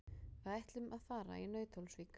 Við ætlum að fara í Nauthólsvík.